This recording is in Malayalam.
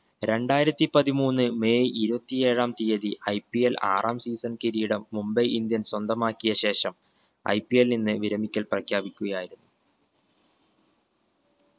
രണ്ടായിരത്തിപ്പതിമൂന്ന് മെയ് ഇരുപത്തി ഏഴാം തീയതി IPL ആറാം season കിരീടം മുംബൈ ഇന്ത്യൻസ് സ്വന്തമാക്കിയ ശേഷം IPL ന്ന് വിരമിക്കൽ പ്രഖ്യാപിക്കുകയായിരുന്നു